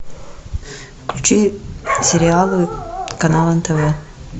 включи сериалы канал нтв